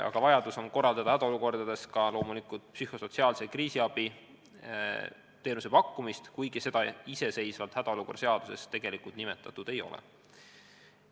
Ja loomulikult on hädaolukordades vaja pakkuda ka psühhosotsiaalset kriisiabi, kuigi seda hädaolukorra seaduses nimetatud ei ole.